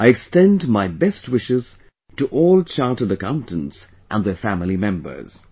I extend my best wishes to all Chartered Accountants and their family members